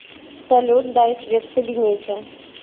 салют дай свет в кабинете